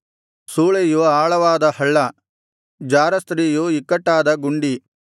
ಸೂಳೆಯು ಆಳವಾದ ಹಳ್ಳ ಜಾರಸ್ತ್ರೀಯು ಇಕ್ಕಟ್ಟಾದ ಗುಂಡಿ